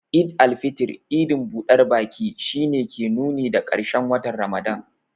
Eid al-fitr, idin budar baki, shi ne ke nuni da karshen watan Ramadan.